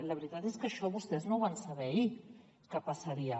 la veritat és que això vostès no ho van saber ahir que passaria